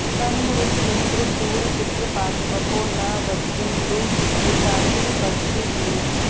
तन्म॑ ऋ॒तमि॑न्द्र शूर चित्र पात्व॒पो न व॑ज्रिन्दुरि॒ताति॑ पर्षि॒ भूरि॑